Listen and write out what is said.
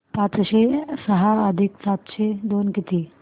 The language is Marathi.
पाचशे सहा अधिक सातशे दोन किती